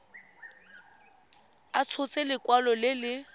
a tshotse lekwalo le le